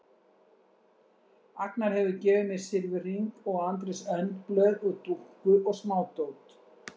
Agnar hefur gefið mér silfurhring og Andrés önd blöð og dúkku og smádót.